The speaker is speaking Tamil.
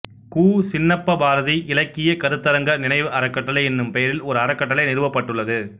கு சின்னப்ப பாரதி இலக்கியக் கருத்தரங்க நினைவு அறக்கட்டளை எனும் பெயரில் ஒரு அறக்கட்டளை நிறுவப்பட்டுள்ளது